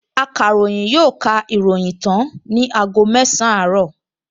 Akàròyìn yóò ka ìròyìn tán ní aago mẹsàn-án àárọ̀